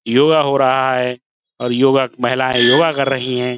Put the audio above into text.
योगा हो रहा है और योगा- महिलाएं योगा कर रही हैं।